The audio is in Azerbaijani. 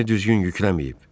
Gəmini düzgün yükləməyib.